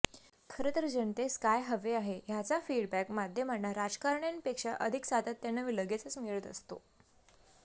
खरंतर जनतेस काय हवे आहे ह्याचा फीडबॅक माध्यमांना राजकारण्यांपेक्षा अधिक सातत्याने व लगेचच मिळत असतो